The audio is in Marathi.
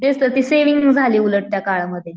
तेच तर ती सेव्हिंग झाली उलट त्या काळामध्ये.